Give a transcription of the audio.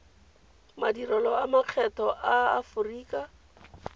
madirelo a makgetho a aforika